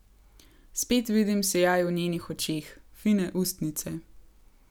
Spet vidim sijaj v njenih očeh, fine ustnice.